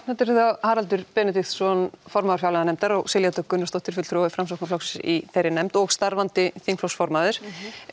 þetta eru þau Haraldur Benediktsson formaður fjárlaganefndar og Silja Dögg Gunnarsdóttir fulltrúi Framsóknar í þeirri nefnd og starfandi þingflokksformaður